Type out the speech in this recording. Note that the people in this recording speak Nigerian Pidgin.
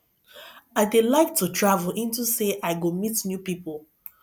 i dey like to travel into say i go meet new people